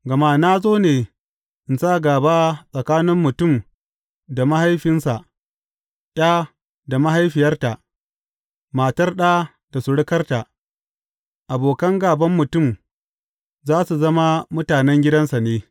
Gama na zo ne in sa, gāba tsakanin mutum da mahaifinsa, ’ya da mahaifiyarta, matar ɗa da surukarta, abokan gāban mutum, za su zama mutanen gidansa ne.’